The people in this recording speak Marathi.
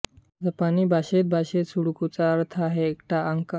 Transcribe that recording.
जपानी भाषेत भाषेत सुडोकूचा अर्थ आहे एकटा अंक